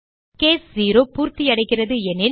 case 0 பூர்த்தியடைகிறது எனில்